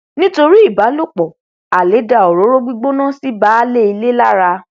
nítorí ìbálòpọ alẹ dá òróró gbígbóná sí baálé ilé lára